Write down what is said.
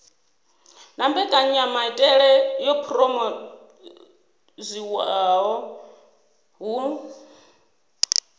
na mbekanyamaitele yo phurophoziwaho hu